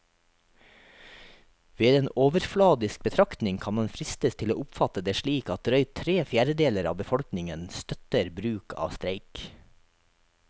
Ved en overfladisk betraktning kan man fristes til å oppfatte det slik at drøyt tre fjerdedeler av befolkningen støtter bruk av streik.